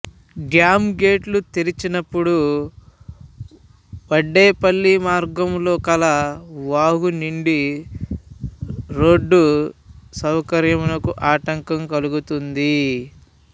dam గేట్లు తెరిచినప్పుడు వడ్డేపల్లి మార్గములో కల వాగు నిండి రోడ్డు సౌకర్యంనకు ఆటంకం కల్గుతుంది